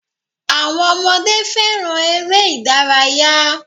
Àwọn ọmọdé fẹràn eré ìdárayá.